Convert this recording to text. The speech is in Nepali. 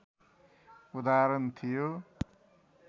उदाहरण थियो